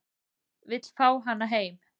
Vill fá hana heim